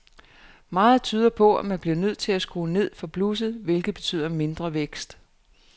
Meget tyder på, at man bliver nødt til at skrue ned for blusset, hvilket betyder mindre vækst.